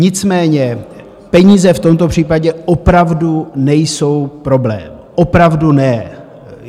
Nicméně peníze v tomto případě opravdu nejsou problém, opravdu ne.